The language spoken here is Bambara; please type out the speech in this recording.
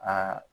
Aa